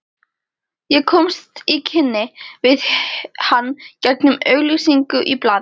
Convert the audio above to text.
Ég komst í kynni við hann gegnum auglýsingu í blaði.